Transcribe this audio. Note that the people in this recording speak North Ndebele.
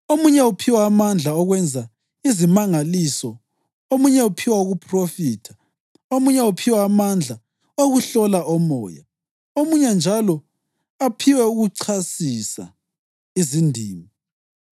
omunye uphiwa amandla okwenza izimangaliso, omunye uphiwa ukuphrofitha, omunye uphiwa amandla okuhlola omoya, omunye njalo aphiwe ukuchasisa izindimi.